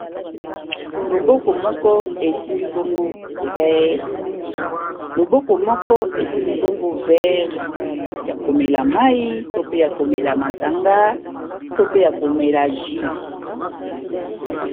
Loboko moko esimbi bongo vere ya komela mayi to pe ya komela masanga to pe ya komela jus.